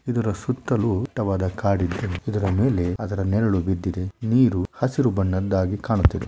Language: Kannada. ಇದರ ಸುತ್ತಲೂ ದಟ್ಟವಾದ ಕಾಡಿದೆ ಇದರ ಮೇಲೆ ಅದರ ನೆರಳು ಬಿದ್ದಿದೆ. ನೀರು ಹಸಿರು ಬಣ್ಣದ್ದಾಗಿ ಕಾಣುತ್ತಿದೆ.